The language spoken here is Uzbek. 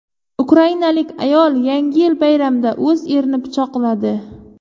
Ukrainalik ayol Yangi yil bayramida o‘z erini pichoqladi.